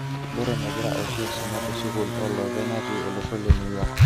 Borron egire oshi asuma tesukul olopeny natii olosho le New York.